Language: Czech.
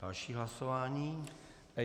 Další hlasování.